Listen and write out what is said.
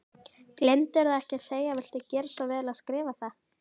Gleymdirðu ekki að segja viltu gera svo vel að skrifa það?